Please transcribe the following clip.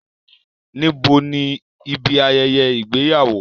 Níbo ni ibi ayẹyẹ ìgbéyàwó?